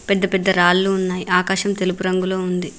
పెద్ద పెద్ద రాళ్లు ఉన్నాయి ఆకాశం తెలుపు రంగులో ఉంది.